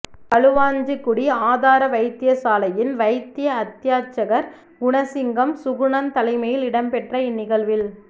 களுவாஞ்சிக்குடி ஆதார வைத்தியசாலையின் வைத்திய அத்தியட்சகர் குணசிங்கம் சுகுணன் தலைமையில் இடம்பெற்ற இந்நிகழ்வில்